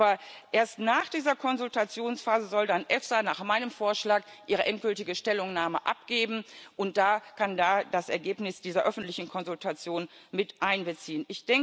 Aber erst nach dieser Konsultationsphase soll dann die EFSA nach meinem Vorschlag ihre endgültige Stellungnahme veröffentlichen und kann dann das Ergebnis dieser öffentlichen Konsultation mit einbeziehen.